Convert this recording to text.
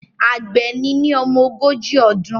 Àgbẹ̀ ni ní ọmọ ogójì ọdún